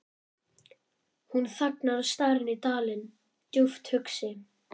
Hún þagnar og starir inn dalinn, djúpt hugsi.